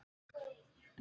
Ég hlusta ekkert á hann.